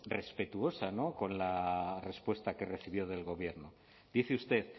respetuosa con la respuesta que recibió del gobierno dice usted